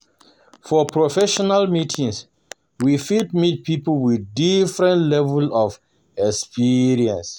For professional meeting we fit meet pipo with different level of experience